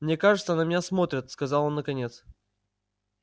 мне кажется на меня смотрят сказал он наконец